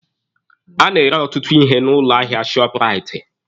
A na-ere ọtụtụ ihe n'ụlọ ahịa shọọpụraiti